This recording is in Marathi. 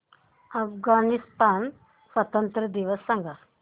अफगाणिस्तान स्वातंत्र्य दिवस सांगा